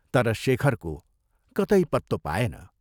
तर शेखरको कतै पत्तो पाएन।